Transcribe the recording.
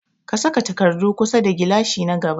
Ka sa takardu kusa da gilashi na gaba.